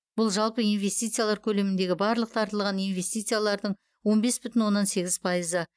бұл жалпы инвестициялар көлеміндегі барлық тартылған инвестициялардың он бес бүтін оннан сегіз пайызы